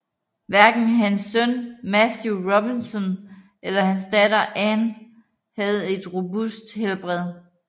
Hverken hans søn Matthew Robinson eller hans datter Anne havde et robust helbred